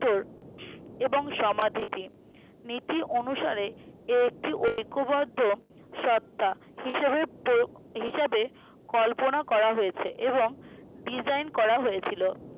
হম এবং সমাধিপি নীতি অনুসারে এ একটি ঐকবদ্ধ শর্তা হিসাবের প্রয়োগ হিসাবে কল্পনা করা হয়েছে এবং design করা হয়েছিলো